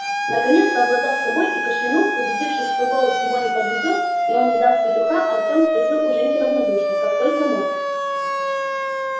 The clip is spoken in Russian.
наконец совладав с собой и кашлянув убедившись что голос его не подведёт и он не даст петуха артём спросил у женьки равнодушно как только мог